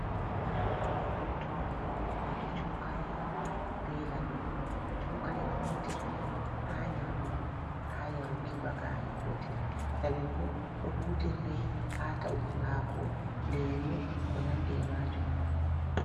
Rottode, waato cokali be laɓi. Cokali ɗo hutirde haa nyamugo, haa yaruki, ba gaari. Koti laɓi bo ɗo hutirde haa ta’uki haako, lemu ko nandi e maajum.